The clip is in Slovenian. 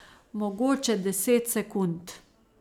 Mogoče deset sekund.